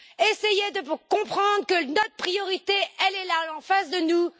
Essayez de comprendre que notre priorité est là, en face de nous.